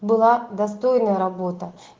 была достойная работа